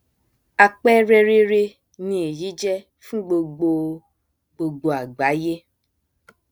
àpẹrẹ rere ni èyí jẹ fún gbogbo gbogbo àgbáyé